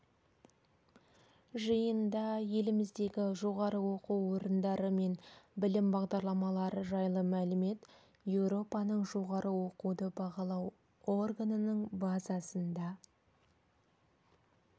жиында еліміздегі жоғары оқу орындары мен білім бағдарламалары жайлы мәлімет еуропаның жоғары оқуды бағалау органының базасында